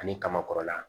Ani kaba kɔrɔla